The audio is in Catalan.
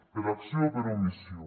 per acció o per omissió